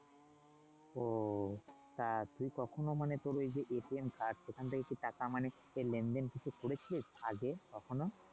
ওহ তা তুই কখনো মানে তোর এই যে সেখান থেকে কি টাকা মানে লেন-দেন করেছিস আগে কখনো?